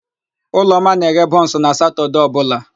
Ụlọma na-eghe bụns na Satọdee ọbụla.